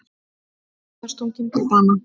Karlmaður stunginn til bana